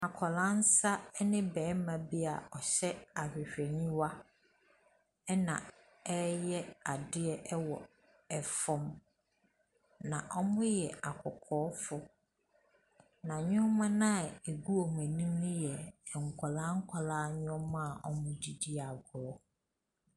Akwadaa nsa ne barima bi a ɔhyɛ ahwehwɛniwa na wɔreyɛ adeɛ wɔ fam, na wɔyɛ akɔkɔɔfoɔ, na nneɛma no a ɛgu wɔn ani no yɛ nkwadaa nkwadaa nneɛma a wɔde di agorɔ.